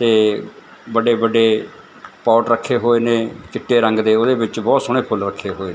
ਤੇ ਵੱਡੇ ਵੱਡੇ ਪੋਟ ਰੱਖੇ ਹੋਏ ਨੇ ਚਿੱਟੇ ਰੰਗ ਦੇ ਉਹਦੇ ਵਿੱਚ ਬਹੁਤ ਸੋਹਣੇ ਫੁੱਲ ਰੱਖੇ ਹੋਏ ਨੇ।